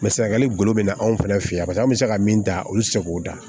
Mɛ sɛnɛgali golo bɛ na anw fɛnɛ feyen an bɛ se ka min ta olu tɛ se k'o da